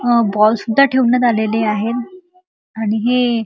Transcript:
अ ball सुद्धा ठेवण्यात आलेले आहे आणि हे --